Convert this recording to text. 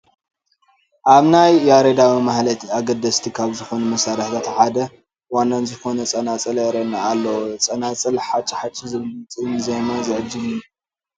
ኣብ ናይ ያሬዳዊ ማህሌት ኣገደስቲ ካብ ዝኾኑ መሳርሕታት ሓደን ዋናን ዝኾነ ፀናፅል ይርአየና ኣሎ፡፡ ፀናፅል ጫሕ ጫሕ ብዝብል ድምፂ ንዜማ ዝዕጅብ እዩ፡፡